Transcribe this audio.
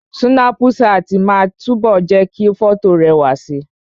Súnápù ṣáàtì máa ń túbọ̀ jẹ́ kí fọ́tò rẹwà si